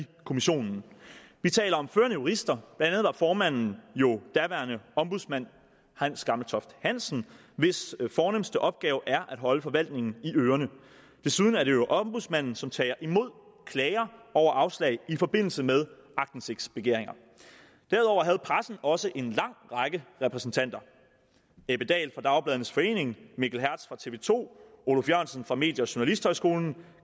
kommissionen vi taler om førende jurister andet var formanden jo daværende ombudsmand hans gammeltoft hansen hvis fornemste opgave er at holde forvaltningen i ørerne desuden er det jo ombudsmanden som tager imod klager over afslag i forbindelse med aktindsigtsbegæringer derudover havde pressen også en lang række repræsentanter ebbe dal fra dagbladenes forening mikkel hertz fra tv to oluf jørgensen fra medie og journalisthøjskolen